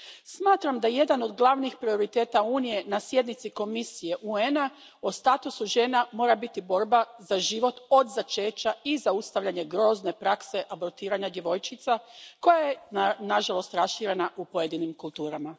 Smatram da jedan od glavnih prioriteta Unije na sjednici Komisije UN a o statusu žena mora biti borba za život od začeća i zaustavljanje grozne prakse abortiranja djevojčica koja je nažalost raširena u pojedinim kulturama.